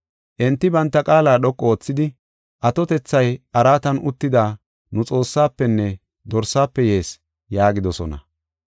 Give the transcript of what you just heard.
Enti banta qaala dhoqu oothidi, “Atotethay araatan uttida nu Xoossaafenne Dorsaafe yees” yaagidosona.